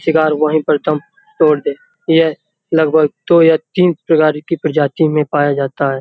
शिकार वहीं पे दम तोड़ दे। ये लगभग दो या तीन प्रकार के प्रजातियों में पाया जाता है।